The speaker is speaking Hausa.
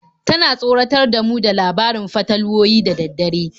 Tana tsoratar da mu da labarin fatalwoyi da dare.